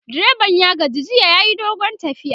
direban ya gaji jiya yayi dogon tafiya